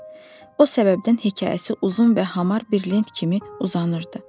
O səbəbdən hekayəsi uzun və hamar bir lent kimi uzanırdı.